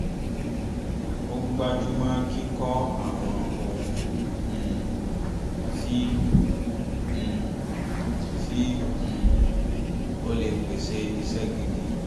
ó gbájúmọ́ kíkọ àwọn ohun um tí um tí um ó lè pèsè iṣẹ́ gidi